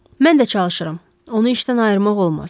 Mən də çalışıram, onu işdən ayırmaq olmaz.